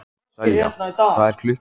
Selja, hvað er klukkan?